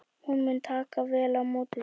Hún mun taka vel á móti þér.